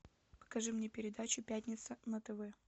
покажи мне передачу пятница на тв